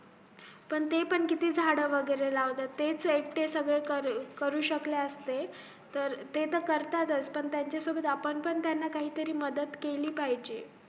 पण ते पण किती झाड वैगरे लावता तेच ऐकटे सगळे करू शकले असते ते तर करतातच पण त्यांच्या सोबत आपण पण त्यांना काही मदत केली पाहिजे